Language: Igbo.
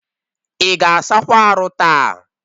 Ị ga asakwa arụ taa?